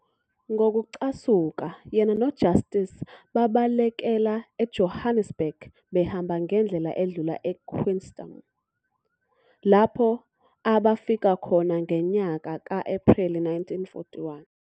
ngokucasuka, yena noJustice babalekela e Johannesburg behamba ngendlela edlula eQueenstown, lapho abafika khona ngenyaka ka-Epreli 1941.